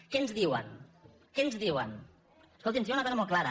què ens diuen què ens diuen escolti’m aquí hi ha una cosa molt clara